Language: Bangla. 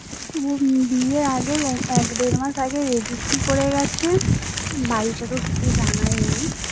বিয়ের আগে এক দেড় মাস আগে registry করে গেছে বাড়িতে তো কিছু জানায়নি